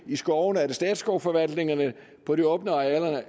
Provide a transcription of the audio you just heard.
i skovene statsskovforvaltningerne og på de åbne arealer